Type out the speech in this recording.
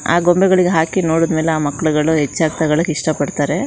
ಆ ಗೊಂಬೆಗಳಿಗೆ ಹಾಕಿ ನೋಡಿದ್ ಮೇಲೆ ಆ ಮಕ್ಕಳುಗಳು ಹೆಚ್ಚಾಗಿ ತಗಳೊಕ್ ಇಷ್ಟ ಪಡ್ತಾರೆ.